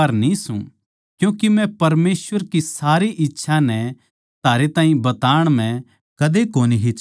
क्यूँके मै परमेसवर की सारी इच्छा नै थारै ताहीं बताण म्ह कदे कोनी हिचकिचाया